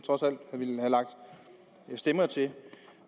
ville have lagt stemmer til